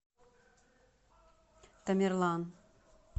тамерлан